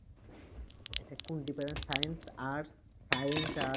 এটা কোন department, Science, Arts, Science, Arts